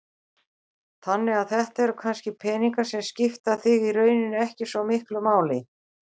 Þannig að þetta eru kannski peningar sem skipta þig í rauninni ekki svo miklu máli?